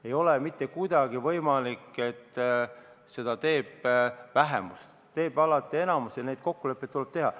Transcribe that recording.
Ei ole mitte kuidagi võimalik, et seda teeb vähemus, selle otsuse teeb alati enamus ja neid kokkuleppeid tuleb teha.